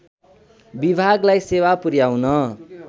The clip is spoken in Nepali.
विभागलाई सेवा पुर्‍याउन